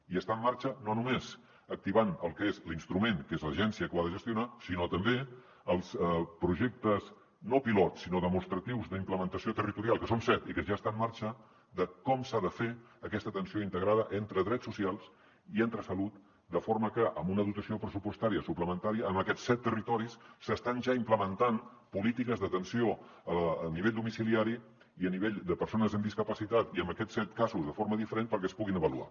i està en marxa no només activant el que és l’instrument que és l’agència que ho ha de gestionar sinó també els projectes no pilot sinó demostratius d’implementació territorial que són set i que ja està en marxa de com s’ha de fer aquesta atenció integrada entre drets socials i entre salut de forma que amb una dotació pressupostària suplementària en aquests set territoris s’estan ja implementant polítiques d’atenció a nivell domiciliari i a nivell de persones amb discapacitat i en aquests set casos de forma diferent perquè es puguin avaluar